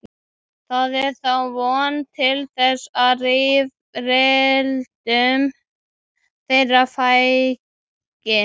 Það er þá von til þess að rifrildum þeirra fækki.